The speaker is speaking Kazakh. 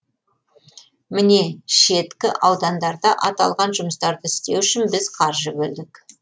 міне шеткі аудандарда аталған жұмыстарды істеу үшін біз қаржы бөлдік